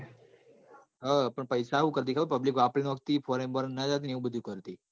હ અ હું કરતી public વાપરી નોખાતી પોણી બોળી નાજાતી એ વું બધું કર તી